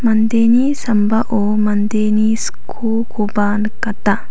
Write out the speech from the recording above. mandeni sambao mandeni skokoba nikata.